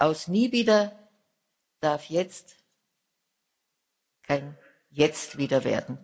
Aus Nie wieder darf kein Jetzt wieder